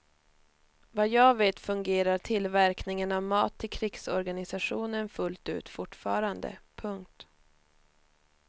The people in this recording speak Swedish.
Vad jag vet fungerar tillverkningen av mat till krigsorganisationen fullt ut fortfarande. punkt